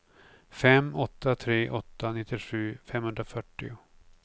fem åtta tre åtta nittiosju femhundrafyrtio